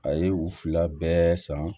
A ye u fila bɛɛ san